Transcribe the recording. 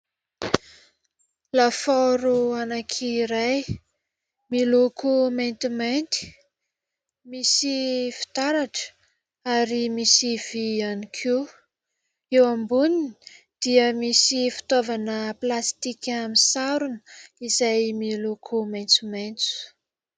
Lafaoro anankiray miloko maintimainty, misy fitaratra ary misy vy ihany koa eo amboniny dia misy fitaovana plastika misarona izay miloko maintsomaintso.